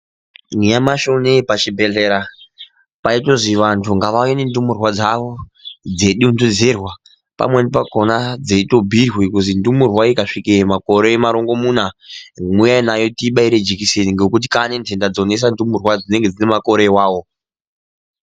Nyamashi unowu pachibhedhlera paitozi vantu ngavauye nendumurwa dzawo dzeidontedzerwa pamweni pakhona dzeitobhuirwe kuzi ndumurwa ikasvitsa makore marongomuna uyai nayo tiibaire jekiseni ngekuti kwane ntenda dzonesa ndumurwa dzinenge dzine makore iwawo..